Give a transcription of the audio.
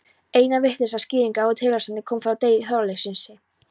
Eina vitlega skýringin á tilstandinu kom frá Degi Þorleifssyni.